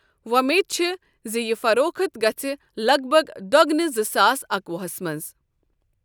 وۄمید چھےٚ یہِ زِ فروخت گژھِ لگ بگ دۄگنہِ زٕ ساس اکوُہس منٛز۔